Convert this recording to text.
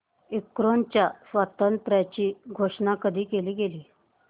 युक्रेनच्या स्वातंत्र्याची घोषणा कधी केली गेली